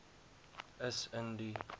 is in die